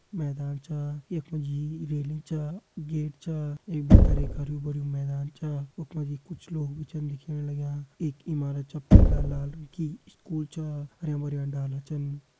मैदान छा यख मा जी रेलिंग छा गेट छा यख भीतर एक हरयुं-भरयुं मैदान छा वख मा जी कुछ लोग भी छन दिखेण लग्यां एक इमारत छ पीला लाल रंग की स्कूल छा हरयां-भरयां डाला छन।